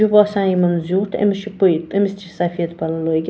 .یہِ باسان یِمن زیُٹھ أمِس چُھ پے أمِس تہِ چھ سفید پَلو لٲگِتھ